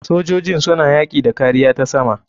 Sojojin suna yaki da kariya ta sama.